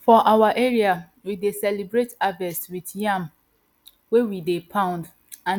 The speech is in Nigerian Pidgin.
for our area we dey celebrate harvest with yam wey we dey poundand